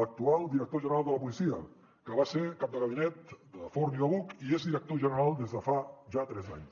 l’actual director general de la policia que va ser cap de gabinet de forn i de buch i és director general des de fa ja tres anys